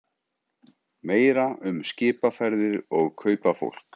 Meira um skipaferðir og kaupafólk